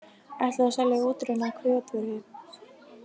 Ætluðu að selja útrunna kjötvöru